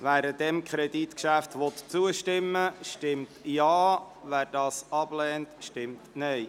Wer diesem Kreditgeschäft zustimmen will, stimmt Ja, wer es ablehnt, stimmt Nein.